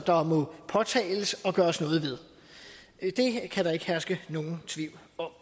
der må påtales og gøres noget ved det kan der ikke herske nogen tvivl om